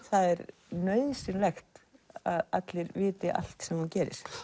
það er nauðsynlegt að allir viti allt sem þú gerir